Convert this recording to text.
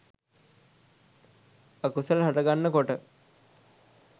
අකුසල් හටගන්න කොට